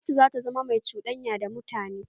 Gwamnatin za ta zama mai cuɗanya da mutane.